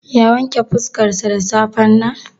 Ya wanke fuskarsa da safen nan?